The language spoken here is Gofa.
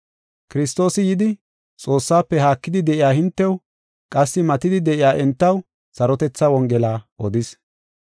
Kiristoosi yidi, Xoossaafe haakidi de7iya hintew, qassi matidi de7iya entaw sarotetha Wongela odis.